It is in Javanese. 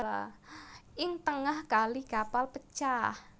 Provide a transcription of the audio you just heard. Ing tengah kali kapal pecah